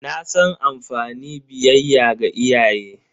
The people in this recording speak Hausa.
Na san amfani biyayya ga iyaye.